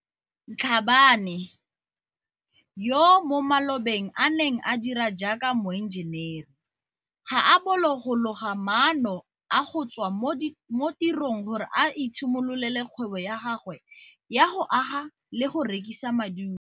Mhlabane, yo mo malobeng a neng a dira jaaka moenjenere, ga a bolo go loga maano a go tswa mo tirong gore a itshimololele kgwebo ya gagwe ya go aga le go rekisa madulo.